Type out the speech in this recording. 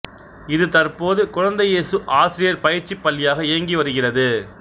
இது தற்போது குழந்தை இயேசு ஆசிரியர் பயிற்சி பள்ளியாக இயங்கி வருகிறது